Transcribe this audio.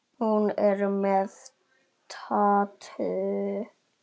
Hún er með tattú.